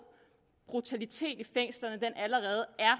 brutalitet i fængslerne allerede er